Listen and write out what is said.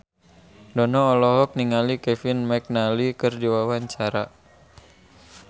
Dono olohok ningali Kevin McNally keur diwawancara